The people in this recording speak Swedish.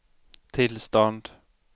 tillstånd